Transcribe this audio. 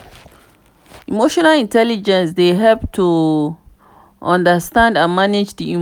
emotional intelligence dey help to understand and manage di emotions.